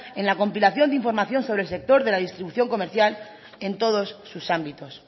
en la compilación de información sobre el sector de la distribución comercial en todos sus ámbitos